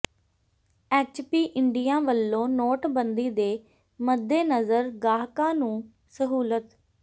HP India ਵੱਲੋਂ ਨੋਟਬੰਦੀ ਦੇ ਮੱਦੇਨਜ਼ਰ ਗਾਹਕਾਂ ਨੂੰ ਸਹੂਲਤ